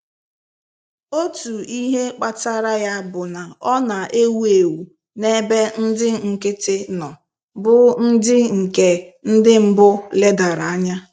Otu ihe kpatara ya bụ na ọ na-ewu ewu n'ebe ndị nkịtị nọ, bụ́ ndị nke ndị mbụ ledara anya.